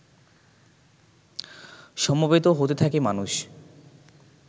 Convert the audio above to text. সমবেত হতে থাকে মানুষ